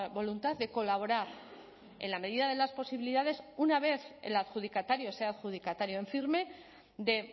voluntad de colaborar en la medida de las posibilidades una vez el adjudicatario sea adjudicatario en firme de